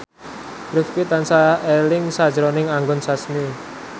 Rifqi tansah eling sakjroning Anggun Sasmi